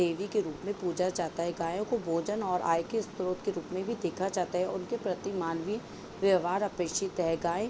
देवी के रूप में पूजा जाता है गायों को भोजन और आय के स्रोत के रूप में भी देखा जाता है और इनके प्रति मनवे व्यवहार और अपरिचित त्यागायं --